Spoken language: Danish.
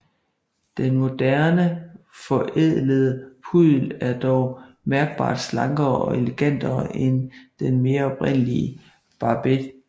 Den moderne forædlede puddel er dog mærkbart slankere og elegantere end den mere oprindelige Barbet